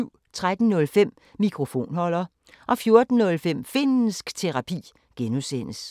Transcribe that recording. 13:05: Mikrofonholder 14:05: Finnsk Terapi (G)